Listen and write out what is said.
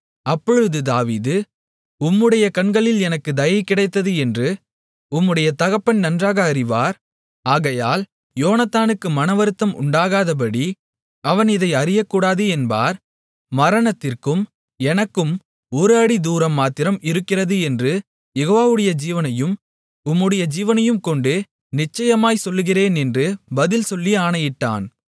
அப்பொழுது தாவீது உம்முடைய கண்களில் எனக்குத் தயை கிடைத்தது என்று உம்முடைய தகப்பன் நன்றாக அறிவார் ஆகையால் யோனத்தானுக்கு மனவருத்தம் உண்டாகாதபடி அவன் இதை அறியக்கூடாது என்பார் மரணத்திற்கும் எனக்கும் ஒரு அடி தூரம் மாத்திரம் இருக்கிறது என்று யெகோவாவுடைய ஜீவனையும் உம்முடைய ஜீவனையும் கொண்டு நிச்சயமாய்ச் சொல்லுகிறேன் என்று பதில் சொல்லி ஆணையிட்டான்